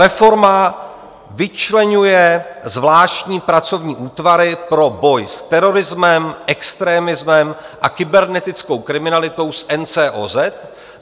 Reforma vyčleňuje zvláštní pracovní útvary pro boj s terorismem, extrémismem a kybernetickou kriminalitou z NCOZ.